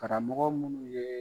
Karamɔgɔ munnu yee